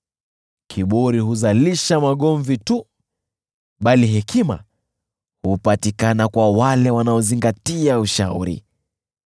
Kiburi huzalisha magomvi tu, bali hekima hupatikana kwa wale wanaozingatia ushauri.